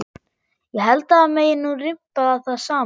Ég held að það megi nú rimpa það saman.